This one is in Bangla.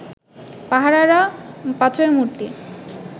পাহারারা পাথরের মূর্তি